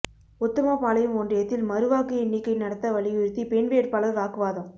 உத்தமபாளையம் ஒன்றியத்தில் மறு வாக்கு எண்ணிக்கை நடத்த வலியுறுத்தி பெண் வேட்பாளா் வாக்குவாதம்